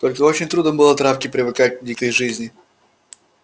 только очень трудно было травке привыкать к дикой жизни